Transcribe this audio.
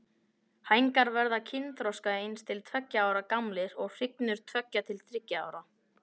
Hængar verða kynþroska eins til tveggja ára gamlir og hrygnur tveggja til þriggja ára.